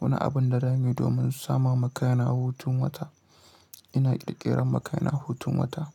wani abun da zamu yi domin sama makaina hutun wata. Ina ƙirƙirar makaina hutun wata.